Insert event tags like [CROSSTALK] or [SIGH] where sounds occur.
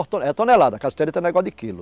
[UNINTELLIGIBLE] tonelada, a cassiterita não é negócio de quilo.